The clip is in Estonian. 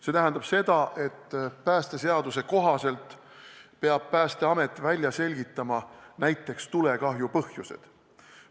See tähendab seda, et päästeseaduse kohaselt peab Päästeamet välja selgitama näiteks tulekahju põhjused.